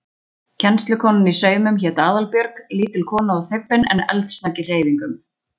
Kennslukonan í saumum hét Aðalbjörg, lítil kona og þybbin en eldsnögg í hreyfingum.